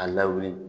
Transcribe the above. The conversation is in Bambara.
A lawuli